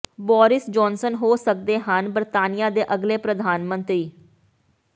Boris Johnson ਹੋ ਸਕਦੇ ਹਨ ਬਰਤਾਨੀਆ ਦੇ ਅਗਲੇ ਪ੍ਰਧਾਨ ਮੰਤਰੀ